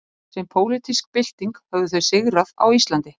sem pólitísk bylting höfðu þau sigrað á íslandi